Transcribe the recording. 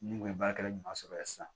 Ni u ye baarakɛla ɲuman sɔrɔ ye sisan